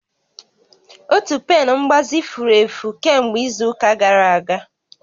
Otu pen mgbazi furu efu kemgbe izu ụka gara aga